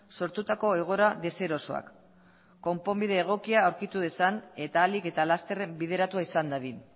sortutako egoera deserosoak konponbide egokia aurkitu dezan eta ahalik eta lasterren bideratua izan dadin